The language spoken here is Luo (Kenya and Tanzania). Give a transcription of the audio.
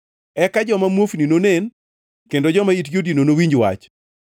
Eka joma muofni nonen kendo joma itgi odino nowinj wach.